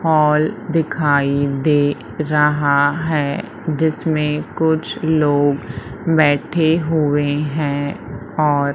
hall दिखाई दे रहा है जिसमें कुछ लोग बैठे हुए हैं और--